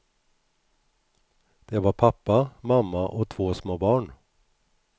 Det var pappa, mamma och två små barn.